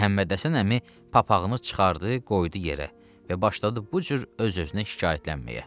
Məhəmmədhəsən əmi papağını çıxardı, qoydu yerə və başladı bu cür öz-özünə şikayətlənməyə.